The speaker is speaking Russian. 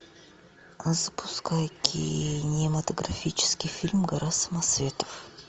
а запускай кинематографический фильм гора самоцветов